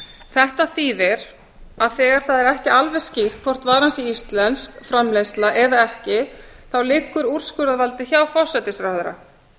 þetta þýðir að þegar það er ekki alveg skýrt hvort varan sé íslensk framleiðsla eða ekki liggur úrskurðarvaldið hjá forsætisráðherra